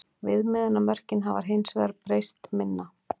Viðmiðunarmörkin hafa hins vegar breyst minna.